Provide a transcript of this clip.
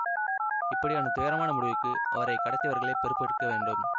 இப்படியான துயரமான முடிவுக்கு அவரை கடத்தியவர்களே பொறுப்பெடுக்க வேண்டும்